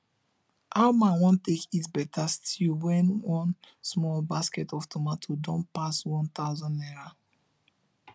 how man wan take eat better stew when one small basket of tomatoes don pass one thousand naira